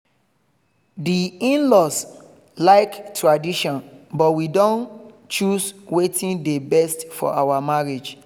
di in-laws like tradition but we don choose wetin dey best for our marriage